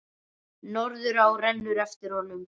Norðurá rennur eftir honum.